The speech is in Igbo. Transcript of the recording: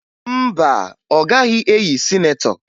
Mba, ọ gaghị eyi sinetọ